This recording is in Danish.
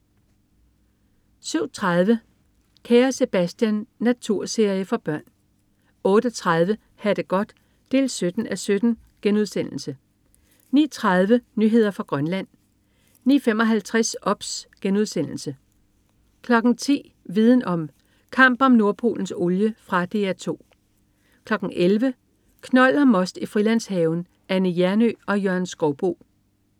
07.30 Kære Sebastian. Naturserie for børn 08.30 Ha' det godt 17:17* 09.30 Nyheder fra Grønland 09.55 OBS* 10.00 Viden om: Kamp om Nordpolens olie. Fra DR 2 11.00 Knold og most i Frilandshaven. Anne Hjernøe og Jørgen Skouboe